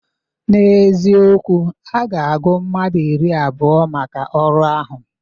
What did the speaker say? N'ezikowu, a ga-agụ mmadụ iri abụọ maka ọrụ ahụ.